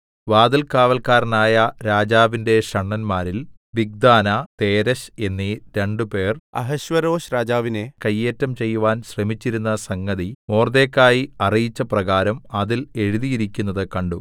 വാതിൽകാവല്ക്കാരായ രാജാവിന്റെ ഷണ്ഡന്മാരിൽ Bigthana Teresh എന്നീ രണ്ടുപേർ അഹശ്വേരോശ്‌രാജാവിനെ കയ്യേറ്റം ചെയ്യുവാൻ ശ്രമിച്ചിരുന്ന സംഗതി മൊർദെഖായി അറിയിച്ചപ്രകാരം അതിൽ എഴുതിയിരിക്കുന്നത് കണ്ടു